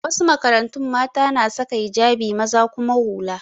A wasu makarantu, mata na saka hijabi maza kuma hula.